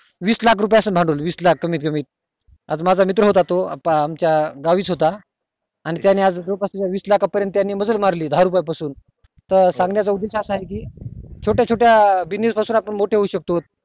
वीस लाख असेल भांडवल कमीत कमी आज माझा मित्र होता तो आमच्या गावी च होता आणि त्यानी आज वीस लाखा पर्यंत मजल मारली दहा रुपये पासून त सांगण्या चा उद्देश असा कि छोट्या छोट्या business पासून आपण मोठे होऊ शकतो